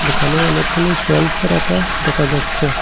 এখানে অনেকগুলো সেলফ রাখা দেখা যাচ্ছে।